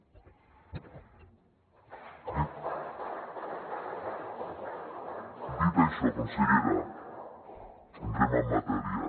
dit això consellera entrem en matèria